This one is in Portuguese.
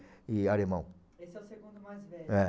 e alemão. Esse é o segundo mais velho? É.